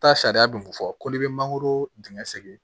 Taa sariya bi fɔ ko ne be mangoro dingɛ segin